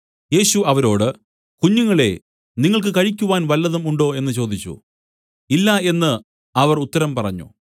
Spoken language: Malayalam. യേശു അവരോട് കുഞ്ഞുങ്ങളെ നിങ്ങൾക്ക് കഴിക്കുവാൻ വല്ലതും ഉണ്ടോ എന്നു ചോദിച്ചു ഇല്ല എന്നു അവർ ഉത്തരം പറഞ്ഞു